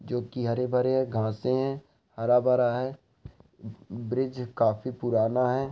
जो की हरे भरे है। घांसे है। हरा भरा है। बि-ब्रिज काफी पुराना है।